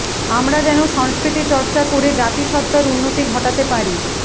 আমরা যেন সংস্কৃতি চর্চা করে জাতিসত্তার উন্নতি ঘটাতে পারি